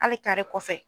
Hali kare kɔfɛ